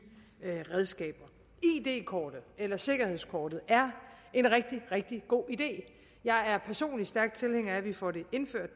redskaber id kortet eller sikkerhedskortet er en rigtig rigtig god idé jeg er personligt stærk tilhænger af at vi får det indført